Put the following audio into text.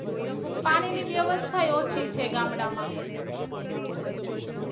પાણી ની વ્યવસ્થા એય ઓછી છે ગામડાંમાં